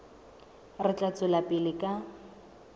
re tla tswela pele ka